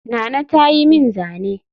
Nana ta yi min zane